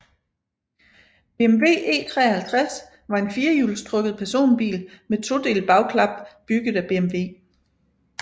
BMW E53 var en firehjulstrukket personbil med todelt bagklap bygget af BMW